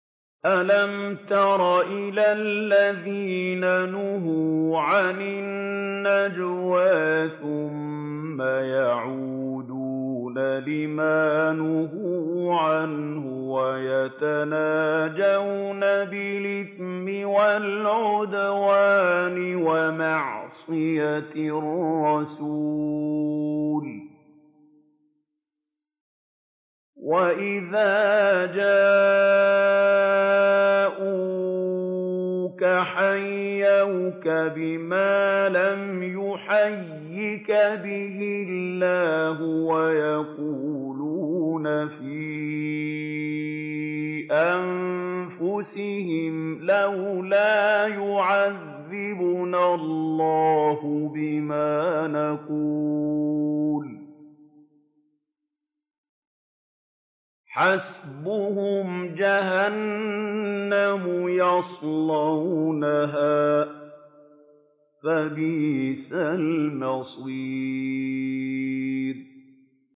أَلَمْ تَرَ إِلَى الَّذِينَ نُهُوا عَنِ النَّجْوَىٰ ثُمَّ يَعُودُونَ لِمَا نُهُوا عَنْهُ وَيَتَنَاجَوْنَ بِالْإِثْمِ وَالْعُدْوَانِ وَمَعْصِيَتِ الرَّسُولِ وَإِذَا جَاءُوكَ حَيَّوْكَ بِمَا لَمْ يُحَيِّكَ بِهِ اللَّهُ وَيَقُولُونَ فِي أَنفُسِهِمْ لَوْلَا يُعَذِّبُنَا اللَّهُ بِمَا نَقُولُ ۚ حَسْبُهُمْ جَهَنَّمُ يَصْلَوْنَهَا ۖ فَبِئْسَ الْمَصِيرُ